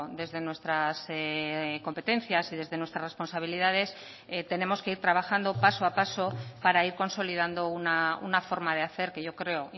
desde nuestras competencias y desde nuestras responsabilidades tenemos que ir trabajando paso a paso para ir consolidando una forma de hacer que yo creo